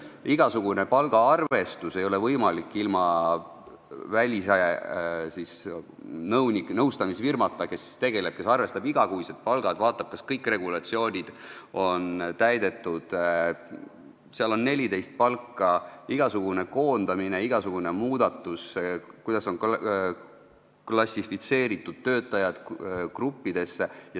Palgaarvestus ei ole võimalik ilma välise nõustamisfirmata, kes arvestab igakuised palgad ja vaatab, kas kõik regulatsioonid on täidetud, seal on 14 palka ja tuleb järgida regulatsioone igasuguse koondamise, igasuguse muudatuse puhul, tuleb vaadata, kuidas on töötajad gruppidesse klassifitseeritud.